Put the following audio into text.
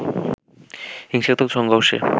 হিংসাত্মক সংঘর্ষে